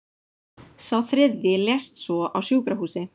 Sá þriðji lést svo á sjúkrahúsi